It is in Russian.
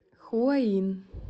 хуаин